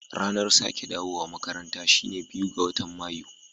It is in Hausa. Ranar sake dawowa makaranta shine biyu ga matan mayu.